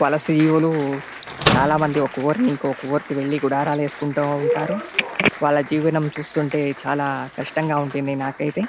వలసియులు చాలా మంది ఒక ఊరు ని ఇంకో ఉరుకి వెళ్ళి గుడారాలు వేసుకుంటా ఉంటారు. వాళ్ళ జీవనం చూస్తుంటే చాలా కష్టంగా ఉంటుంది నాకైతే.